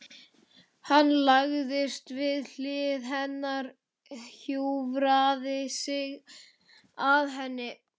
Hann lagðist við hlið hennar, hjúfraði sig að henni.